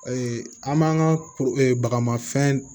an m'an ka bagamafɛn